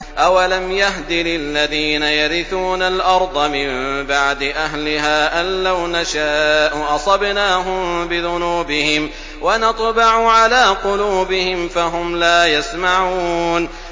أَوَلَمْ يَهْدِ لِلَّذِينَ يَرِثُونَ الْأَرْضَ مِن بَعْدِ أَهْلِهَا أَن لَّوْ نَشَاءُ أَصَبْنَاهُم بِذُنُوبِهِمْ ۚ وَنَطْبَعُ عَلَىٰ قُلُوبِهِمْ فَهُمْ لَا يَسْمَعُونَ